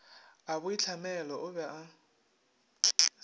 a boitlhamelo o be o